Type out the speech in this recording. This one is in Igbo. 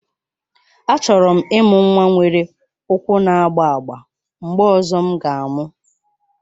Achọrọ m ịmụ nwa nwere ụkwụ na-agba agba mgbe ọzọ m ga-amụ